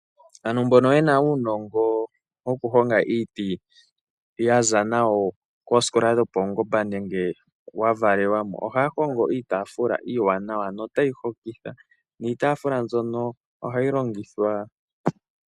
Ano mbono ye na uunongo mbono wokuhonga iiti yaza nawo koosikola dhopaungomba nenge wa valelwamo oha ya hongo iitaafula iiwanawa no tayi hokitha, niitaafula mbyono oha yi longithwa.